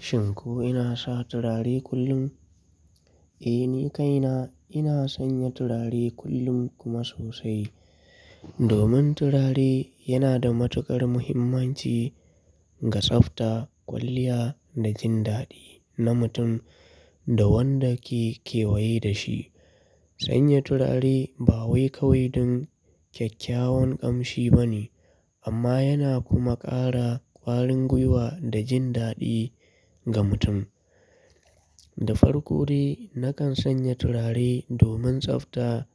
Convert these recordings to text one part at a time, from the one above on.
Shin ko ina sa turare kullum? Eh, ni kaina ina sanya turare kullum kuma sosai. Domin turare yana da matukar muhimmanci ga tsafta, kwalliya da jin daɗi na mutum da wanda ke kewaye da shi. Sanya turare ba wai kawai don kyakkyawan ƙamshi ba ne, amma yana kuma ƙara ƙwarin gwiwa da jin daɗi ga mutum. Da farko dai, nakan sanya turare domin tsafta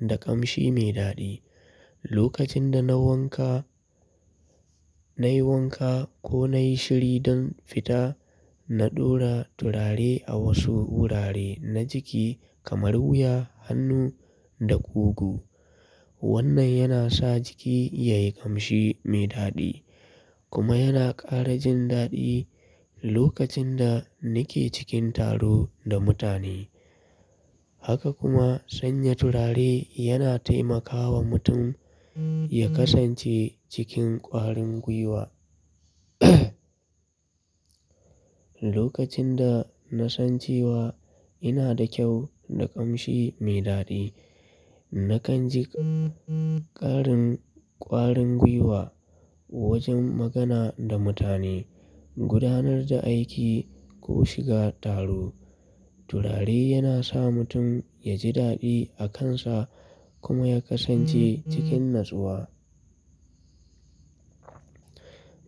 da ƙamshi mai daɗi. Lokacin da na wanka, na yi wanka ko na yi shiri don fita, na ɗora turare a wasu wurare na jiki kamar wuya, hannu da kugu. Wannan yana sa jiki ya yi ƙamshi mai daɗi kuma yana ƙara jin daɗi lokacin da nake cikin taro da mutane. Haka kuma sanya turare yana taimakawa mutum ya kasance cikin ƙwarin gwiwa. Lokacin da na san cewa ina da kyau da ƙamshi mai daɗi, nakan ji ƙarin ƙwarin gwiwa wajen magana da mutane, gudanar da aiki ko shiga taro. Turare yana sa mutum ya ji daɗi a kansa kuma ya kasance cikin natsuwa.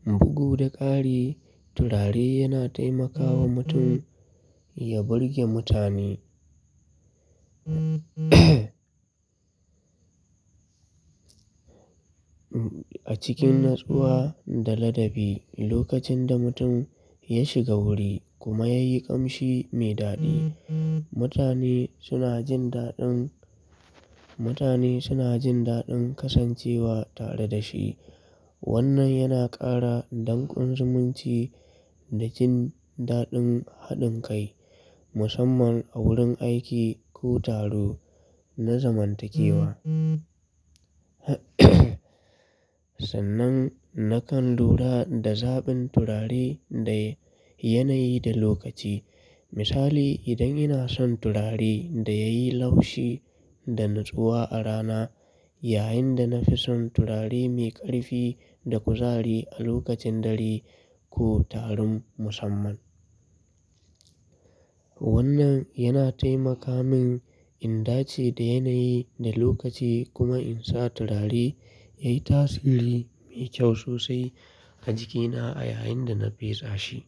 Bugu da ƙari, turare yana taimakawa mutum ya burge mutane. A cikin natsuwa da ladabi, lokacin da mutum ya shiga wuri kuma ya yi ƙamshi mai daɗi, mutane suna jin daɗin, mutane suna jin daɗin kasancewa tare da shi. Wannan yana ƙara dankon zumunci da jin daɗin haɗin kai, musamman a wurin aiki ko taro na zamantakewa. Sannan nakan lura da zaɓin turare da yanayi da lokaci. Misali, idan ina son turare da ya yi laushi da natsuwa a rana, yayin da na fi son turare mai ƙarfi da kuzari a lokacin dare ko taron musamman. Wannan yana taimaka min in ɗace da yanayi da lokaci kuma in sa turare ya yi tasiri mai kyau sosai a jikina a yayin da na faisa shi.